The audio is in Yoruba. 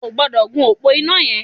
O ò gbọ́dọ̀ gun òpó iná yẹn!